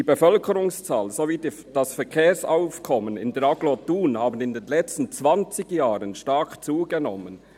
Die Bevölkerungszahl sowie das Verkehrsaufkommen in der Agglomeration Thun haben in den letzten zwanzig Jahren […] stark zugenommen.